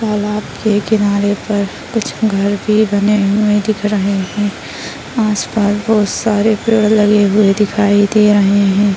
तालाब के किनारे पर कुछ घर भी बने हुए दिख रहे है आस-पास बहुत सारे पेड़ लगे हुए दिखई दे रहे है।